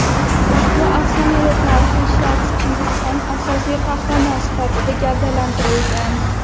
ushbu afsonada tarixiy shaxs – Chingizxon asosiy qahramon sifatida gavdalantirilgan.